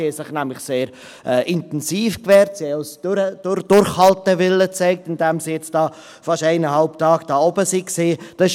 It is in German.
Sie haben sich nämlich sehr intensiv gewehrt und haben auch Durchhaltewillen gezeigt, indem sie jetzt fast eineinhalb Tage da oben auf der Zuschauertribüne waren.